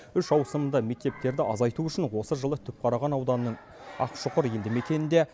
үш ауысымды мектептерді азайту үшін осы жылы түпқараған ауданының ақшұқыр елді мекенінде